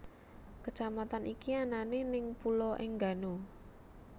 Kecamatan iki anane neng Pulo Enggano